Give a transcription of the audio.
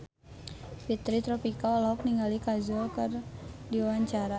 Fitri Tropika olohok ningali Kajol keur diwawancara